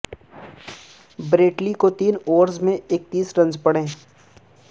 Brett Lee کو تین overs میں اکتیس رنز پڑے